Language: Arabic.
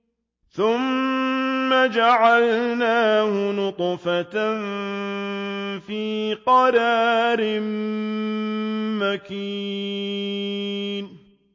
ثُمَّ جَعَلْنَاهُ نُطْفَةً فِي قَرَارٍ مَّكِينٍ